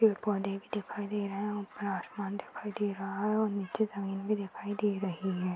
पेड़ पौधे भी दिखाई दे रहे है। ऊपर आसमान दिखाई दे रहा है और नीचे जमीन भी दिखाई दे रही है।